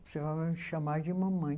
Você vai me chamar de mamãe.